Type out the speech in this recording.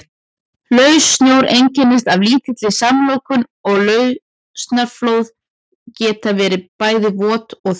Laus snjór einkennist af lítilli samloðun og lausasnjóflóð geta verið bæði vot og þurr.